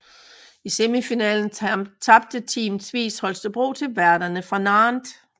I semifinalen tabte Team Tvis Holstebro til værterne fra Nantes